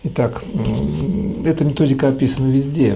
итак мм эта методика описана везде